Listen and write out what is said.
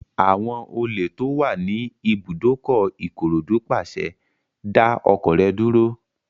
Àwọn olè tó wà ní ibùdókọ̀ Ìkòròdú pàṣẹ, "dá ọkọ̀ rẹ dúró!"